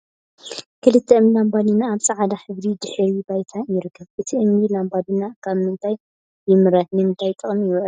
ክልተ እምኒ ላምባዲና ኣብ ፃዕዳ ሕብሪ ድሕረ ባይታ ይርከብ ። እቲ እምኒ ላምባዲና ካብ ምንታይ ይምረት ንምንታይ ጥቅሚ ይውዕል ?